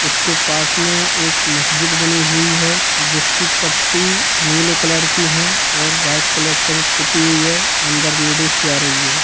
उसके पास में एक मस्जिद बनी हुई है जिसकी पट्टी नीले कलर की है और व्हाइट कलर से वो पुत्ती हुई है अंदर लेडीज जा रही है।